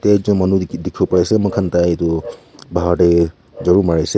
taijon manu likhi dikhibo pai se moikhan tai tu bahar teh jharu mari se.